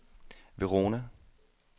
Verona